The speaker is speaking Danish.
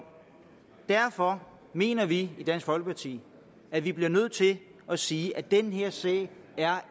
derfor mener vi i dansk folkeparti at vi bliver nødt til at sige at den her sag